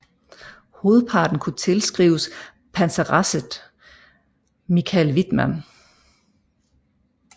Hovedparten kunne tilskrives panseresset Michael Wittmann